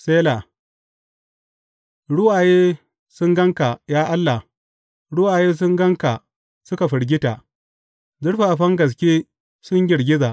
Sela Ruwaye sun gan ka, ya Allah, ruwaye sun gan ka suka firgita; zurfafan gaske sun girgiza.